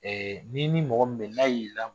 Ɛɛ ni ni mɔgɔ mɛn n'a y'i la